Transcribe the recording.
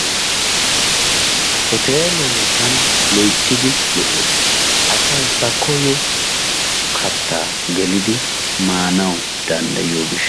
Hotelee tana loyttidi lo"ees. Asay ba koyyo kattaa geelidi maanawu danddayiyoo giishshawu.